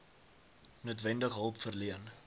noodwendig hulp verleen